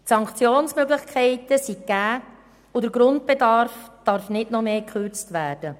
Sanktionsmöglichkeiten sind gegeben und der Grundbedarf darf nicht noch mehr gekürzt werden.